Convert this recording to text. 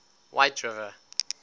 whiteriver